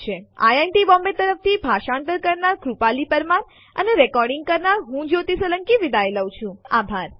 IIT Bombay તરફ થી ભાષાંતર કરનાર હું કૃપાલી પરમાર વિદાય લઉં છું જોડવા બદલ આભાર